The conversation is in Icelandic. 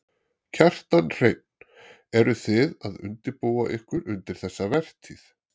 Kjartan Hreinn: Eru þið að undirbúa ykkur undir þessa vertíð?